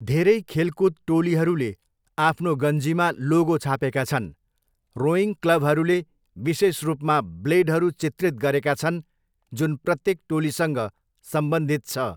धेरै खेलकुद टोलीहरूले आफ्नो गन्जीमा लोगो छापेका छन्, रोइङ क्लबहरूले विशेष रूपमा ब्लेडहरू चित्रित गरेका छन् जुन प्रत्येक टोलीसँग सम्बन्धित छ।